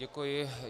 Děkuji.